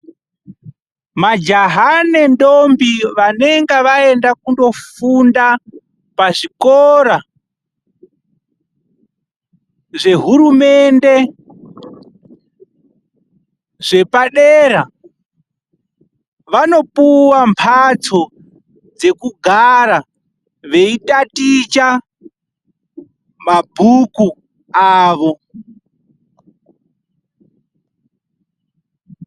Majaha nendombi vanenge vaenda kunofunda pazvikora zvehurumende, zvepadera vanopuwa mbatso dzekugara veitaticha mabhuku avo.